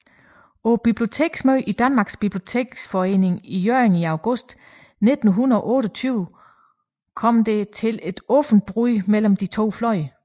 På Biblioteksmødet i Danmarks Biblioteksforening i Hjørring i august 1928 kom det til et åbent brud mellem de to fløje